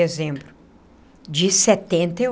Dezembro de setenta e